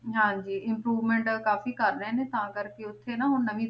ਹਾਂਜੀ improvement ਕਾਫ਼ੀ ਕਰ ਰਹੇ ਨੇ ਤਾਂ ਕਰਕੇ ਉੱਥੇ ਨਾ ਹੁਣ ਨਵੀਂ,